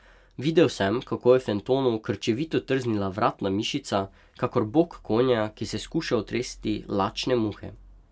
Videl sem, kako je Fentonu krčevito trznila vratna mišica, kakor bok konja, ki se skuša otresti lačne muhe.